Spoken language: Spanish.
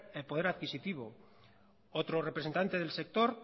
el poder adquisitivo otro representante del sector